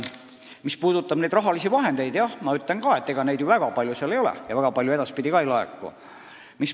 Mis puudutab seda raha, siis jah, ma ütlen ka, et ega seda väga palju selles fondis ei ole ja väga palju ka edaspidi ei laeku.